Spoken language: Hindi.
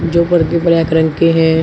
जो पर्दे ब्लैक रंग के हैं।